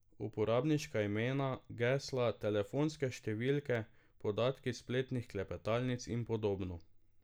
Uporabniška imena, gesla, telefonske številke, podatki s spletnih klepetalnic in podobno.